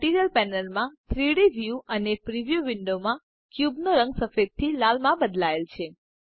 material panel માં 3ડી view અને પ્રિવ્યુ વિન્ડોમાં ક્યુબનો રંગ સફેદથી લાલમાં બદલાય છે